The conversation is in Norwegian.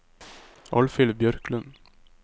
Alfhild Bjørklund